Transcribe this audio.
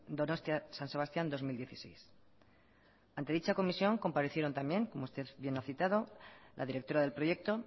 donostia san sebastián dos mil dieciséis ante dicha comisión comparecieron también como usted bien ha citado la directora del proyecto